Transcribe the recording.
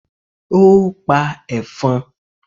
ó pa ẹ̀fọn?